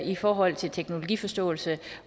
i forhold til teknologiforståelse